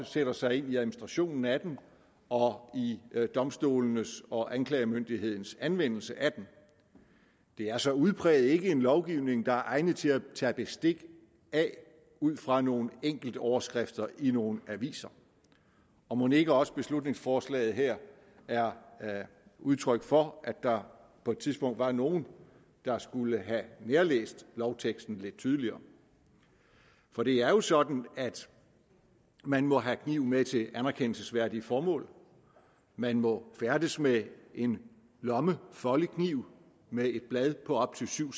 sætter sig ind i administrationen af den og i domstolenes og anklagemyndighedens anvendelse af den det er så udpræget ikke en lovgivning der er egnet til at tage bestik af ud fra nogle enkeltoverskrifter i nogle aviser og mon ikke også beslutningsforslaget her er udtryk for at der på et tidspunkt var nogen der skulle have nærlæst lovteksten lidt tydeligere for det er jo sådan at man må have kniv med til anerkendelsesværdige formål man må færdes med en lommefoldekniv med et blad på op til syv